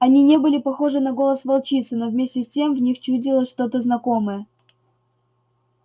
они не были похожи на голос волчицы но вместе с тем в них чудилось что то знакомое